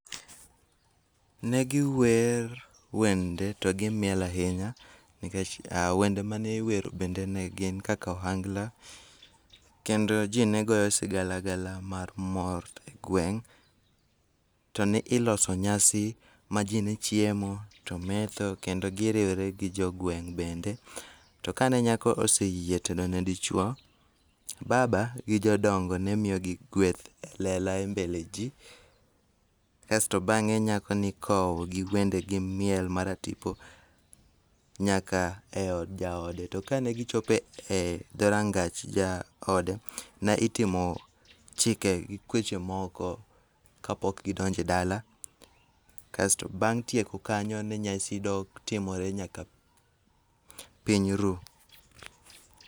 Negiwer wende to gimiel ahinya nikech wende maniwero bende ne gin kaka ohangla, kendo ji negoyo sigalagala mag mor e gweng'. To ni iloso nyasi majinechiemo to metho kendo giriwre gi jogweng' bende. To kane nyako oseyie tedone dichuo, baba gi jodongo nemiyogi gweth e lela e mbele ji. Asto bang'e nyako nikowo gi wende gi miel mar atipo nyaka e od jaode to kane gichope dho rangach jaode, ne itimo chike gi kweche moko kapok gidonjo e dala, kasto bang' tieko kanya nyasi netimore nyaka piny ru.